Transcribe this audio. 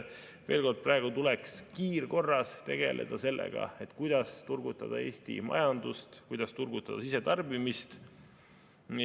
Veel kord, praegu tuleks kiirkorras tegeleda sellega, kuidas turgutada Eesti majandust, kuidas turgutada sisetarbimist.